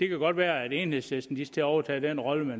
godt være at enhedslisten skal til at overtage den rolle